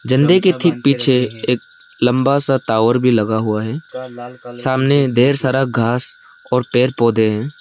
झंडे के ठीक पीछे एक लंबा सा टावर भी लगा हुआ है सामने ढेर सारा घास और पेड़ पौधे हैं।